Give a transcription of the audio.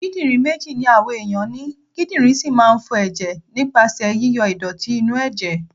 Kídírìn méjì ni àwa ẹ̀yàn ni, kídírìn sì máa ń fọ ẹ̀jẹ̀ nípasẹ̀ yí yọ ìdọ̀tí inú ẹ̀jẹ̀.